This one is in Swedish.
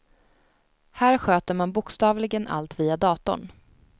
Här sköter man bokstavligen allt via datorn.